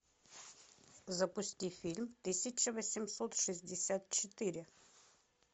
запусти фильм тысяча восемьсот шестьдесят четыре